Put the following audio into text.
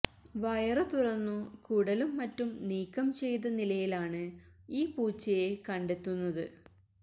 വയറു തുറന്നു കുടലും മറ്റും നീക്കം ചെയ്ത നിലയിലാണ് ഈ പൂച്ചയെ കണ്ടെത്തുന്നത്